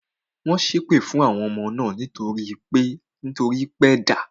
Wọ́n ṣé èpè fún àwọn ọmọ náà nítorí pé da